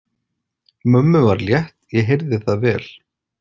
Mömmu var létt, ég heyrði það vel.